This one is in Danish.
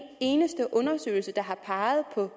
eneste undersøgelse der har peget på